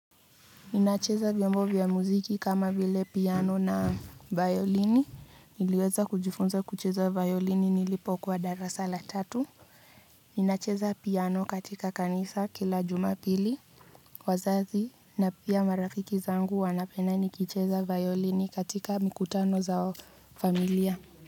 Ninacheza vyombo vya mziki kama vile piano na vayolini, niliweza kujifunza vayolini nilipokuwa darasa la tatu. Ninacheza piano katika kanisa kila jumapili wazazi na pia marafiki zangu wanapenda nikicheza violini katika mikutano za familia.